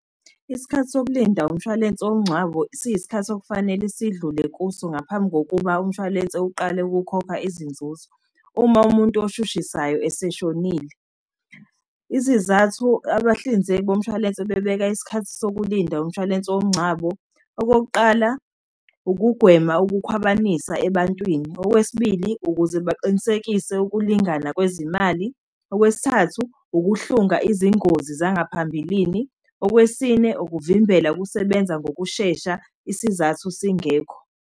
Isikhathi sokulinda umshwalense womngcwabo, siyisikhathi okufanele sidlule kuso ngaphambi kokuba umshwalense uqale ukukhokha izinzuzo. Uma umuntu oshushisayo eseshonile, izizathu abahlinzeki bomshwalense bebeka isikhathi sokulinda umshwalense womngcwabo. Okokuqala, ukugwema ukukhwabanisa ebantwini. Okwesibili, ukuze baqinisekise ukulingana kwezimali. Okwesithathu, ukuhlunga izingozi zangaphambilini. Okwesine, ukuvimbela ukusebenza ngokushesha isizathu singekho.